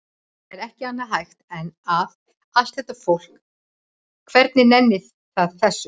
Það er ekki annað hægt en að. allt þetta fólk, hvernig nennir það þessu?